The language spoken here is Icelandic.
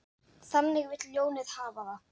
Þannig vill ljónið hafa það.